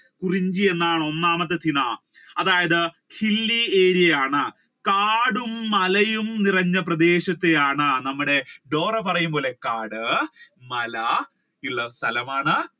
കുറിഞ്ചി എന്നാണ് ഒന്നാമത്തെ ചിണ അതായത് hilly area ഇൽ ആണ് കാടും മലയും നിറഞ്ഞ പ്രദേശത്തെയാണ് നമ്മുടെ ഡോറ പറയും പോലെ കാട് മല ഉള്ള സ്ഥലമാണ്.